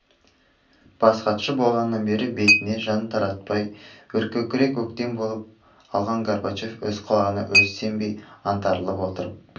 бас хатшы болғаннан бері бетіне жан қаратпай өркөкірек өктем болып алған горбачев өз құлағына өз сенбей аңтарылып отырып